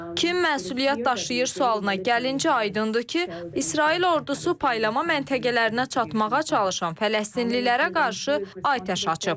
Kim məsuliyyət daşıyır sualına gəlincə aydındır ki, İsrail ordusu paylama məntəqələrinə çatmağa çalışan fələstinlilərə qarşı atəş açıb.